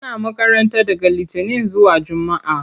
Ana makaranta daga litinin zuwa jumaa.